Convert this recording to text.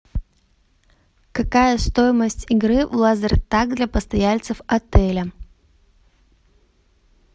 какая стоимость игры в лазертаг для постояльцев отеля